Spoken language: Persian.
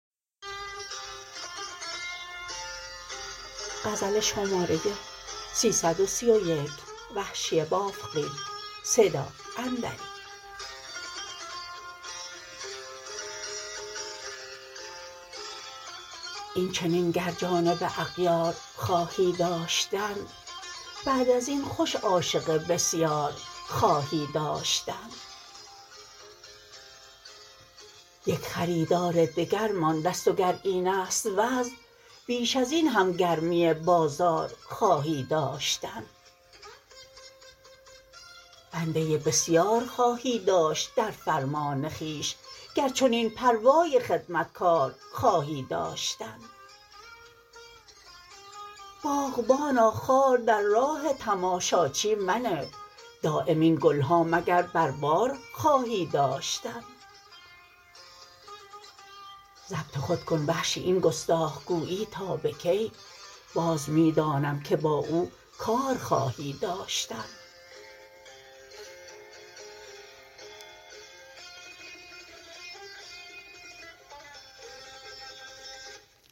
اینچنین گر جانب اغیار خواهی داشتن بعد ازین خوش عاشق بسیار خواهی داشتن یک خریدار دگر ماندست و گر اینست وضع بیش ازین هم گرمی بازار خواهی داشتن بنده بسیار خواهی داشت در فرمان خویش گر چنین پروای خدمتکار خواهی داشتن باغبانا خار در راه تماشاچی منه دایم این گلها مگر بر بار خواهی داشتن ضبط خود کن وحشی این گستاخ گویی تابه کی باز می دانم که با او کار خواهی داشتن